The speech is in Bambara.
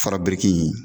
Fara biriki in